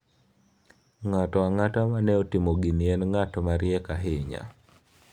Ng'ato ang'ata mane otimo gini en ng'at mariek ahinya."